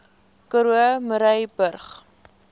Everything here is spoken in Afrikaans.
karoo murrayburg